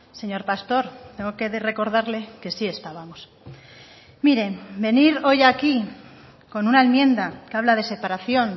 señor pastor tengo que recordarle que sí estábamos miren venir hoy aquí con una enmienda que habla de separación